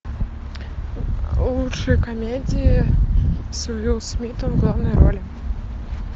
лучшие комедии с уиллом смитом в главной роли